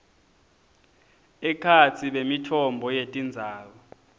ekhatsi bemitfombo yetindzaba